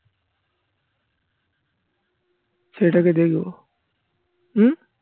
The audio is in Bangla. ছেলেটাকে দেখবো হুম